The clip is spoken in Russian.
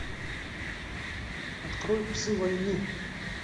открой псы войны